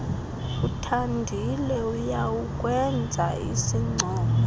uthandile uyawukwenza isincomo